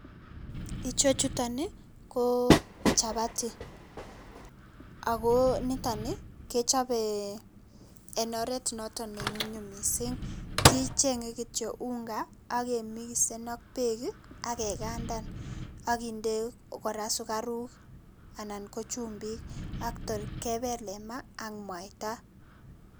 Icho chutok ko chapati, ako niton kechope eng oret noto ne nyumnyum mising, kichenge kityo unga akemisen ak beek akekandan akinde kora sukaruk anan ko chumbik ak tor kebele maa ak mwaita.